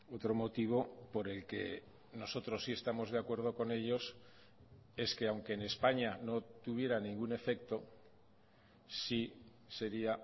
otro motivo por el que nosotros sí estamos de acuerdo con ellos es que aunque enespaña no tuviera ningún efecto sí sería